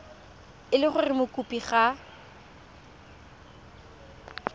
e le gore mokopi ga